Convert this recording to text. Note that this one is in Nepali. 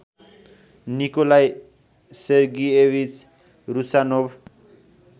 Nikolai Sergeyevich Rusanov